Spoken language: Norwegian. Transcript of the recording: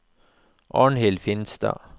Arnhild Finstad